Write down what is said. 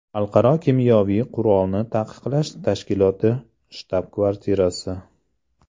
Xalqaro kimyoviy qurolni taqiqlash tashkiloti shtab-kvartirasi.